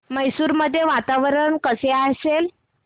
मैसूर मध्ये वातावरण कसे असेल